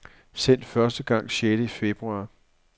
Sendt første gang sjette februar.